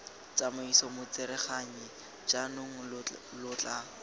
tsamaiso motsereganyi jaanong lo tla